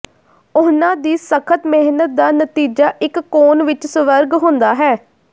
ਉਹਨਾਂ ਦੀ ਸਖ਼ਤ ਮਿਹਨਤ ਦਾ ਨਤੀਜਾ ਇੱਕ ਕੋਨ ਵਿੱਚ ਸਵਰਗ ਹੁੰਦਾ ਹੈ